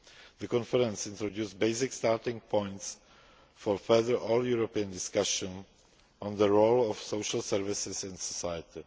jobs. The conference introduced basic starting points for further all European discussions on the role of social services in society.